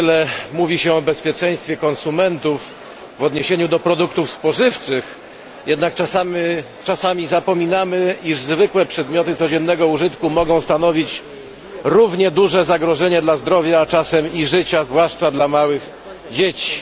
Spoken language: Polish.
Wiele mówi się o bezpieczeństwie konsumentów w odniesieniu do produktów spożywczych, jednak czasami zapominamy, iż zwykłe przedmioty codziennego użytku mogą stanowić równie duże zagrożenie dla zdrowia, a czasem i życia, zwłaszcza dla małych dzieci.